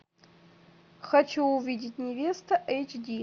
хочу увидеть невеста эйч ди